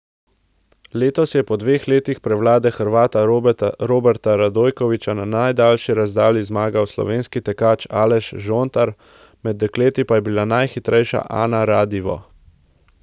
Letos je po dveh letih prevlade Hrvata Roberta Radojkovića na najdaljši razdalji zmagal slovenski tekač Aleš Žontar, med dekleti pa je bila najhitrejša Ana Radivo.